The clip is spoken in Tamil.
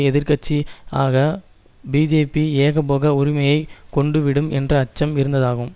எதிர் கட்சி ஆக பிஜேபி ஏகபோக உரிமையை கொண்டுவிடும் என்ற அச்சம் இருந்ததாகும்